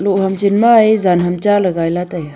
loh ham chen ma a jan ham cha le gai la taiga.